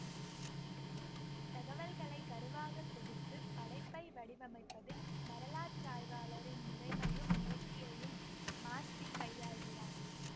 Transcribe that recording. தகவல்களை கருவாக தொகுத்து படைப்பை வடிவமைப்பதில் வரலாற்றாய்வாளரின் முறைமையையும் நேர்த்தியையும் மாஸ்தி கையாள்கிறார்